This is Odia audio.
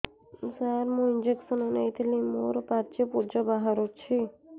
ସାର ମୁଁ ଇଂଜେକସନ ନେଇଥିଲି ମୋରୋ ପାଚି ପୂଜ ବାହାରୁଚି